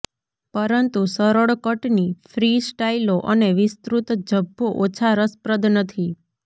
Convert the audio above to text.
પરંતુ સરળ કટની ફ્રી સ્ટાઇલો અને વિસ્તૃત ઝભ્ભો ઓછા રસપ્રદ નથી